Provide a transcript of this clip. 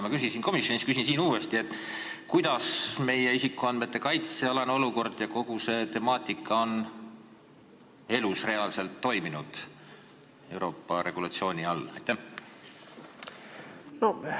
Ma küsisin komisjonis ja küsin siin uuesti, kuidas meie isikuandmete kaitse olukord ja kogu see temaatika on Euroopa regulatsiooni all reaalselt elus toiminud.